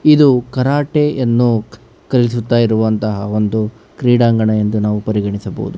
ಇದು ಕರಾಟೆಯನ್ನು ಕಲಿಸುತ್ತಾ ಇರುವಂತ ಒಂದು ಕ್ರೀಡಾಂಗಣ ಎಂದು ನಾವು ಪರಿಗಣಿಸಬಹುದು.